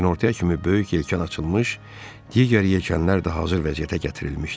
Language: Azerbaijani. Günortaya kimi böyük yelkan açılmış, digər yelkanlar da hazır vəziyyətə gətirilmişdi.